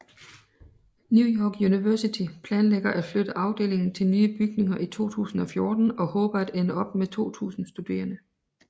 New York University planlægger at flytte afdelingen til nye bygninger i 2014 og håber at ende op med 2000 studerende